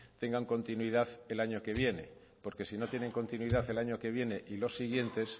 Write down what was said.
tengan continuidad el año que viene porque si no tienen continuidad el año que viene y los siguientes